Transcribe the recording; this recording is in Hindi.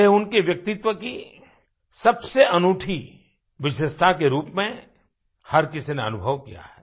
यह उनके व्यक्तित्व की सबसे अनूठी विशेषता के रूप में हर किसी ने अनुभव किया है